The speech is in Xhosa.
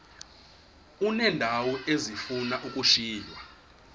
uneendawo ezifuna ukushiywa